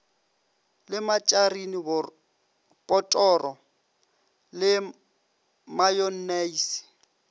le matšarine botoro le mayonnaise